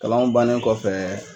Kalanw bannen kɔfɛ.